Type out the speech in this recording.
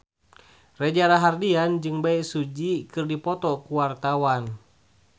Reza Rahardian jeung Bae Su Ji keur dipoto ku wartawan